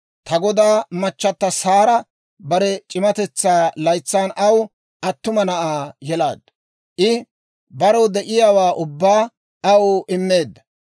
Ta godaa machata Saara bare c'iimmatetsaa laytsan aw attuma na'aa yelaaddu; I barew de'iyaawaa ubbaa aw immeedda.